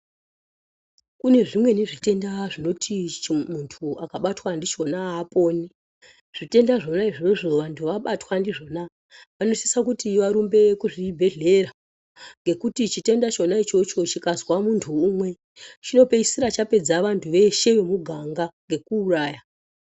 Kune zvimweni zvitenda zvinoti muntu akabatwa ndichona haaponi . Zvitenda zvona izvozvo antu abatwa ndizvona anosise kuti varumbe kuzvibhedhlera ngekuti chitenda chona ichocho chikazwa muntu umwe chinopedzisira chapedza vantu veshe vehuganga ngekuuraya.